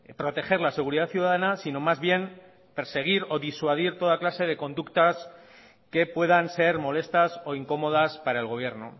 proteger la seguridad ciudadana sino más bien perseguir o disuadir toda clase de conductas que puedan ser molestas o incómodas para el gobierno